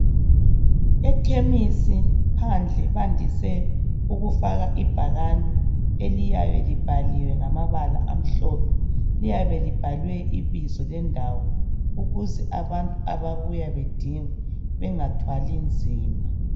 Ekhemisi phandle bandise ukufaka ibhakane eliyabe libhaliwe ngamabala amhlophe, liyabe libhalwe ibizo lendawo ukuze abantu ababuya bedinga bengathwali nzima.